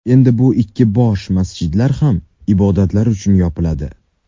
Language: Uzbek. Endi bu ikki bosh masjid ham ibodatlar uchun yopiladi.